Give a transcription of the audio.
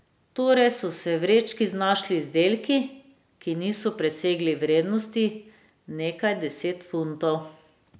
Torej so se v vrečki znašli izdelki, ki niso presegli vrednosti nekaj deset funtov.